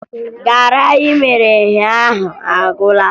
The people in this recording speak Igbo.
Garị anyị mere ụnyaahụ agwụla